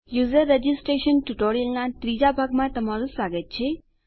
user registration ટ્યુટોરીયલનાં ત્રીજા ભાગમાં તમારું સ્વાગત છે